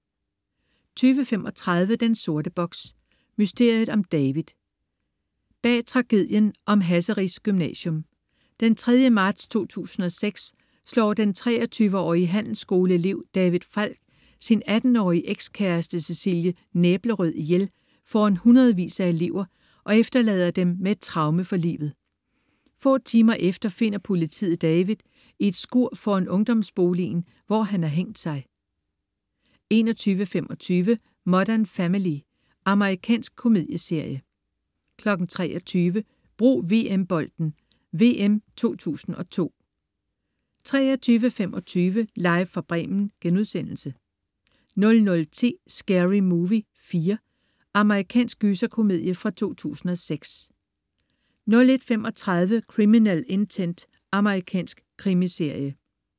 20.35 Den sorte box: Mysteriet om David. Bag om tragedien på Hasseris Gymnasium. Den 3. marts 2006 slår den 23-årige handelsskoleelev David Falk sin 18-årige ekskæreste Cecilie Næblerød ihjel foran hundredvis af elever og efterlader dem med et traume for livet. Få timer efter finder politiet David i et skur foran ungdomsboligen, hvor han har hængt sig 21.25 Modern Family. Amerikansk komedieserie 23.00 Brug VM-bolden: VM 2002 23.25 Live fra Bremen* 00.10 Scary Movie 4. Amerikansk gyserkomedie fra 2006 01.35 Criminal Intent. Amerikansk krimiserie